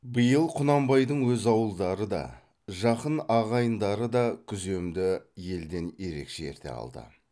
биыл құнанбайдың өз ауылдары да жақын ағайындары да күземді елден ерекше ерте алды